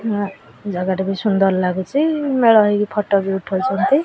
ଆଁ ଜାଗା ଟା ବି ସୁନ୍ଦର ଲାଗୁଚି ମେଳ ହେଇକି ଫଟ ବି ଉଠଉଚନ୍ତି।